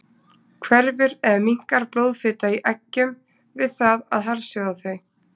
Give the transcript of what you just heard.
Hverfur eða minnkar blóðfita í eggjum við það að harðsjóða þau?